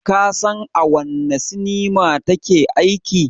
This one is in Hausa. Ka san a wanne sinima ta ke aiki?